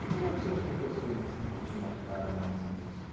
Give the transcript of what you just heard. E quem eram os seus professores, assim, que te marcaram aí nesse início?